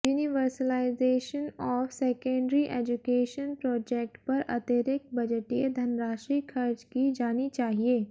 universalization of secondary education project पर अतिरिक्त बजटीय धनराशि खर्च की जानी चाहिए